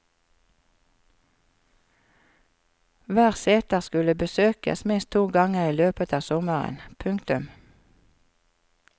Hver seter skulle besøkes minst to ganger i løpet av sommeren. punktum